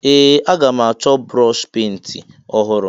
Ee! Aga m achọ brọọshị penti ọhụrụ.